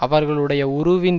அவர்களுடைய உருவின்